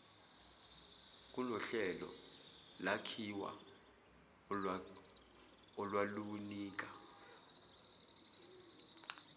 kunohlelo lwakhiwa olwalunika